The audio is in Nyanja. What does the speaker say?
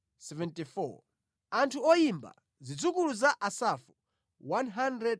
Anthu oyimba: Zidzukulu za Asafu 148.